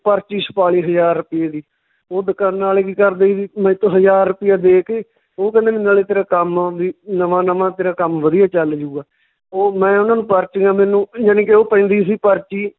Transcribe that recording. ਪਰਚੀ ਛਪਾਲੀ ਹਜਾਰ ਰੁਪਈਏ ਦੀ, ਓਹ ਦਕਾਨਾਂ ਆਲੇ ਕੀ ਕਰਦੇ ਸੀ ਹਜਾਰ ਰੁਪਈਆ ਦੇ ਕੇ, ਓਹ ਕਹਿੰਦੇ ਵੀ ਨਾਲੇ ਤੇਰਾ ਕੰਮ ਵੀ ਨਵਾਂ ਨਵਾਂ ਤੇਰਾ ਕੰਮ ਵਧੀਆ ਚੱਲ ਜਾਊਗਾ, ਉਹ ਮੈਂ ਉਹਨਾਂ ਨੂੰ ਪਰਚੀਆਂ ਮੈਨੂੰ ਜਾਣੀ ਕਿ ਓਹ ਪੈਂਦੀ ਸੀ ਪਰਚੀ